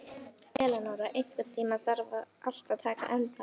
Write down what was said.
Elinóra, einhvern tímann þarf allt að taka enda.